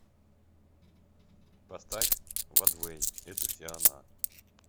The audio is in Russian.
поставь вадвэй это все она